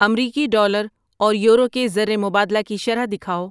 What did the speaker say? امریکی ڈالر اور یورو کے زرمبادلہ کی شرح دکھاؤ